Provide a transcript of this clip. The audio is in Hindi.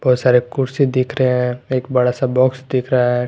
बहुत सारे कुर्सी दिख रहे हैं एक बड़ा सा बॉक्स दिख रहा है।